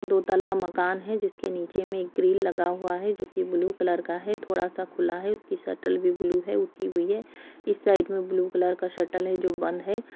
दो तल्ला मकान है जिसके नीचे में ग्रिल लगा हुआ है जो कि ब्लू कलर का है थोड़ा सा खुला है उसकी शटर भी ब्लू है उठी हुई है इस साइड में ब्लू कलर का शटर है जो बंद है।